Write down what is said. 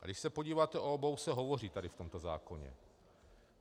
A když se podíváte, o obou se hovoří tady v tomto zákoně.